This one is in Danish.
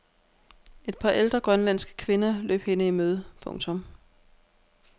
Et par ældre grønlandske kvinder løb hende i møde. punktum